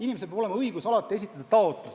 Inimesel on ju alati õigus esitada taotlus lahkuda.